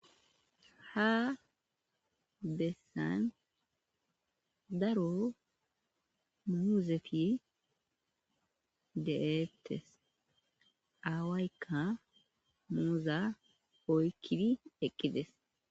Ha bessan daro muuzeti de'eettes aawayka muuza oykkidi eqqides.